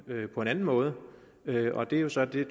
på en anden måde og det var jo så det